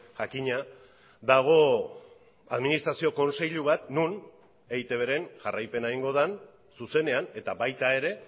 jakina dago administrazio kontseilu bat non eitbren jarraipena egingo den zuzenean eta baita ere